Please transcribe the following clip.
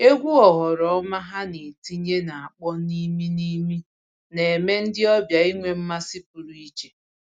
Egwu oghoroma ha na-etinye na-akpọ n'ime n'ime na-eme ndị ọbịa inwe mmasị pụrụ iche